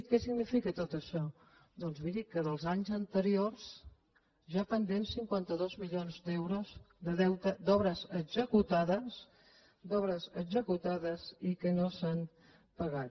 què significa tot això doncs miri que dels anys anteriors hi ha pendents cinquanta dos milions d’euros de deute d’obres executades d’obres executades i que no s’han pagat